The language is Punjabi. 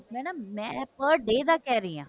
madam ਮੈਂ per day ਦਾ ਕਹਿ ਰਹੀ ਹਾਂ